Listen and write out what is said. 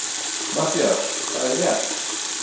MATTHÍAS: Það er rétt!